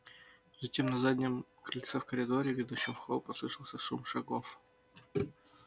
затем на заднем крыльце и в коридоре ведущем в холл послышался шум шагов